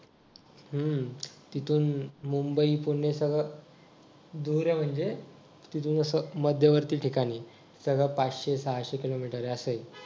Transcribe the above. हम्म तिथून मुंबई-पुणे सगळ दूर आहे म्हणजे तिथून असं मध्यवर्ती ठिकाणी सगळ पाचशे-सहाशे किलोमीटर आहे असं